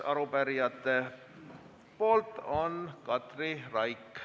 Arupärijate ettekandjaks on Katri Raik.